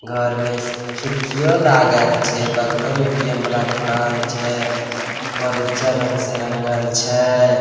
घर में खिड़कियों लागल छै बगलो में ए_टी_एम वाला दुकान छै घर उज्जर रंग से रंगल छै।